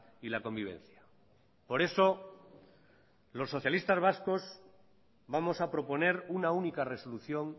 y la convivencia por eso los socialistas vascos vamos a proponer una única resolución